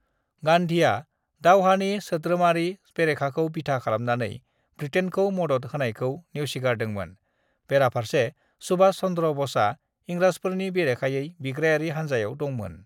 "गान्धीआ दावहानि सोद्रोमारि बेरेखाखौ बिथा खालामनानै बृटेनखौ मदद होनायखौ नेवसिगारदोंमोन, बेराफारसे सुभाष चन्द्र बसआ इंराजफोरनि बेरेखायै बिग्रायारि हानजायाव दंमोन।"